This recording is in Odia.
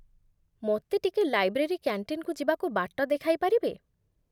ମୋତେ ଟିକେ ଲାଇବ୍ରେରୀ କ୍ୟାଣ୍ଟିନ୍‌କୁ ଯିବାକୁ ବାଟ ଦେଖାଇପାରିବେ?